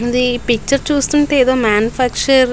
ఈ పిక్చర్ చూస్తుంటే ఏదో మ్యానుఫ్యాక్చర్ --